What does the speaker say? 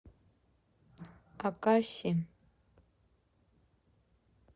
акаси